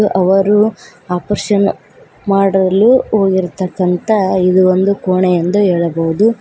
ಅವರು ಆಪರೇಷನ್ ಮಾಡಲು ಹೋಗಿರ್ತಕ್ಕಂತ ಇದು ಒಂದು ಕೋಣೆ ಎಂದು ಹೇಳಬಹುದು.